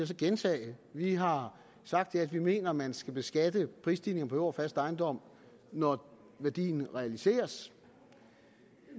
så gentage vi har sagt at vi mener at man skal beskatte prisstigninger på jord og fast ejendom når værdien realiseres